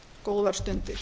góðar stundir